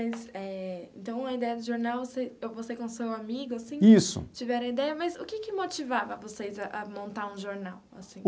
Eh então a ideia do jornal, você você com seu amigo assim tiveram a ideia, mas o que que motivava vocês a a montar um jornal, assim?